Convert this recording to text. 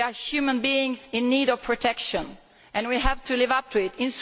They are human beings in need of protection and we have to live up to this.